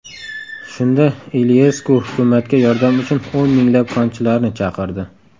Shunda Iliyesku hukumatga yordam uchun o‘n minglab konchilarni chaqirdi.